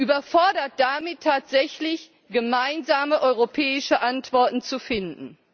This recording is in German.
Überfordert damit, tatsächlich gemeinsame europäische Antworten zu finden.